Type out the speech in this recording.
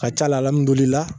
Ka ca la alihamudulila